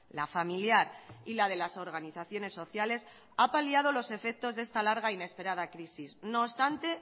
la familiar y la de las organizaciones sociales ha paliado los efectos de esta larga e inesperada crisis no obstante